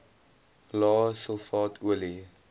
lae sulfaat olie